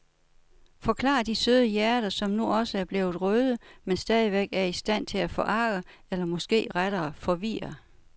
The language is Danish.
Forklarer de søde hjerter, som nu også er blevet røde, men stadigvæk er i stand til at forarge eller måske rettere forvirre.